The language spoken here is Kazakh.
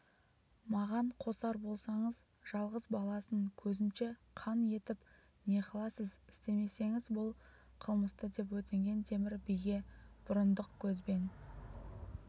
маған қосар болсаңыз жалғыз баласын көзінше қан етіп не қыласыз істемеңіз бұл қылмыстыдеп өтінген темір биге бұрындық көзбен